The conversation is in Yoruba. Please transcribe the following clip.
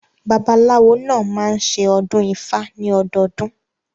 Babaláwo náà máa ń ṣe ọdún ifá ní ọdọdún.